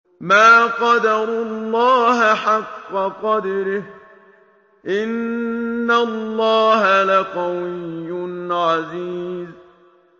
مَا قَدَرُوا اللَّهَ حَقَّ قَدْرِهِ ۗ إِنَّ اللَّهَ لَقَوِيٌّ عَزِيزٌ